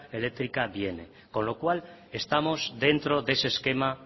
eléctrica viene con lo cual estamos dentro de ese esquema